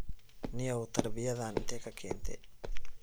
Nio tarbiyadhan inte kakente.